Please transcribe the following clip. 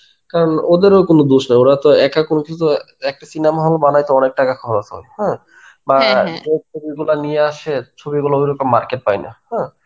কারণ ওদেরও কোনো দোষ নেই. ওরাতো একটা কোনো কিসু একটা cinema hall বানাইতে অনেক টাকা খরচ হয় হ্যাঁ, বা যে ছবিগুলা নিয়ে আসে ছবিগুলো সেরকম market পায়না হ্যাঁ.